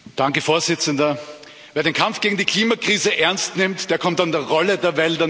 Herr Präsident! Wer den Kampf gegen die Klimakrise ernst nimmt, der kommt an der Rolle der Wälder nicht vorbei.